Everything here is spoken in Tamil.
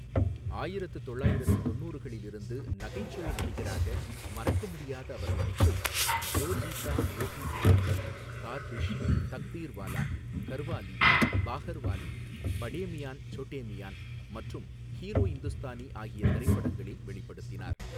ஆயிரத்து தொள்ளாயிரத்து தொண்ணூறுகளில் இருந்து நகைச்சுவை நடிகராக மறக்கமுடியாத அவர் நடிப்பை ஜோ ஜீதா வோஹி சிக்கந்தர், கார்டிஷ், தக்தீர்வாலா, கர்வாலி பஹார்வாலி, படே மியான் சோட்டே மியான் மற்றும் ஹீரோ இந்துஸ்தானி ஆகிய திரைப்படங்களில் வெளிப்படுத்தினார்.